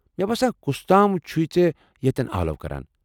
مےٚ باسان کُس تام چُھے ژےٚ یَتین آلو کران۔